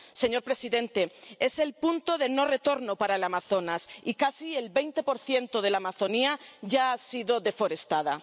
Señor presidente, es el punto de no retorno para el Amazonas y casi el 20 de la Amazonía ya ha sido deforestada.